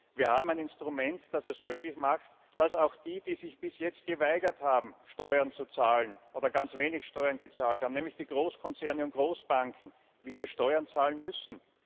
Wir haben ein Instrument, das es möglich macht, dass auch die, die sich bis jetzt geweigert haben, Steuern zu zahlen, oder ganz wenig Steuern gezahlt haben, nämlich die Großkonzerne und Großbanken, wieder Steuern zahlen müssen.